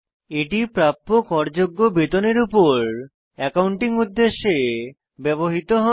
এটি প্রাপ্য কর যোগ্য বেতনের উপর অ্যাকাউন্টিং উদ্দেশ্যে ব্যবহৃত হয়